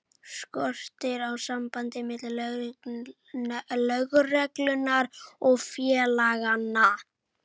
Skortir á samband milli lögreglu og félaganna?